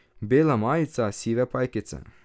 Bela majica, sive pajkice.